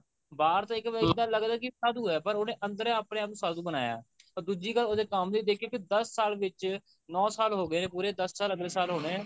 ਬਾਹਰ ਤਾਂ ਇੱਕ ਇੱਦਾਂ ਲੱਗਦਾ ਹੈ ਕਿ ਸਾਧੂ ਹੈ ਪਰ ਉਹਨੇ ਅੰਦਰ ਆਪਣੇ ਆਪ ਨੂੰ ਸਾਧੂ ਬਣਾਇਆ or ਦੁੱਜੀ ਗੱਲ ਉਹਦੇ ਕੰਮ ਦੇ ਵਿੱਚ ਦੇਖੀਏ ਕਿ ਦੱਸ ਸਾਲ ਵਿੱਚ ਨੋ ਸਾਲ ਹੋ ਗਏ ਨੇ ਪੂਰੇ ਦਸ ਸਾਲ ਅਗਲੇ ਸਾਲ ਹੋਣੇ ਨੇ ਪੂਰੇ